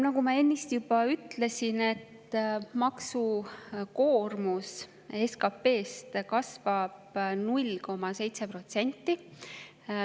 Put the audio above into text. Nagu ma ennist juba ütlesin, maksukoormuse SKP-sse kasvab 0,7%.